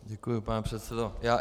Děkuji, pane předsedo.